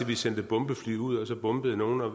vi sendte bombefly ud og så bombede nogen og